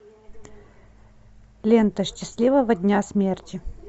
лента счастливого дня смерти